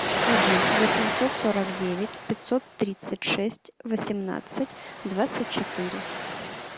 один восемьсот сорок девять пятьсот тридцать шесть восемнадцать двадцать четыре